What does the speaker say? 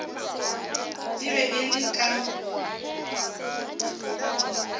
e be e le ka